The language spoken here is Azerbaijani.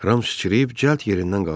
Ram sıçrayıb cəld yerindən qalxdı.